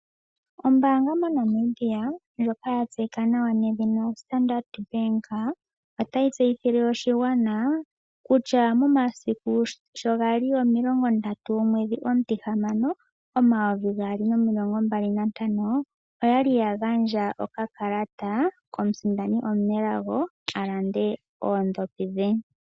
Ombaanga moNamibia ndjoka ya tseyika nawa Standard bank, otayi tseyithile oshigwana kutya momasiku sho gali omilongo ndatu omwedhi omutihamano omayovi gaali nomilongo mbali nantano, oyali ya gandja okakalata komusindani omunelago a lande oodhopi dhe.